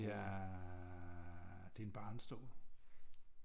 Det er det er en barnestol